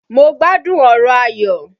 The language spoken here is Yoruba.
Mo gbádùn ọ̀rọ̀ Ayọ̀.